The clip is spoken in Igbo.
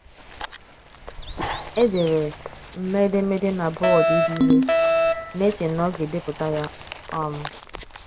Edere m edemede na bọọdụ ide ihe, na - eche na oga - edepụta ya. um